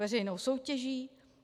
Veřejnou soutěží?